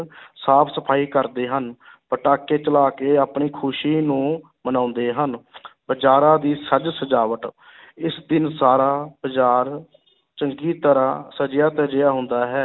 ਸਾਫ਼ ਸਫ਼ਾਈ ਕਰਦੇ ਹਨ ਪਟਾਕੇ ਚਲਾ ਕੇ ਆਪਣੀ ਖ਼ੁਸ਼ੀ ਨੂੰ ਮਨਾਉਂਦੇ ਹਨ ਬਜ਼ਾਰਾਂ ਦੀ ਸਜ ਸਜਾਵਟ ਇਸ ਦਿਨ ਸਾਰਾ ਬਾਜ਼ਾਰ ਚੰਗੀ ਤਰ੍ਹਾਂ ਸਜਿਆ ਧਜਿਆ ਹੁੰਦਾ ਹੈ